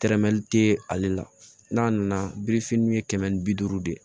Tɛrɛmɛli te ale la n'a nana birifini ye kɛmɛ ni bi duuru de ye